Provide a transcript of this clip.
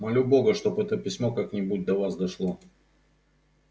молю бога чтоб это письмо как-нибудь до вас дошло